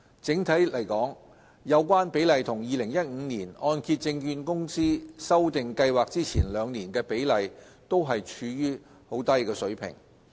整體而言，有關比例與2015年按揭證券公司修訂計劃前兩年的比例均處於低水平。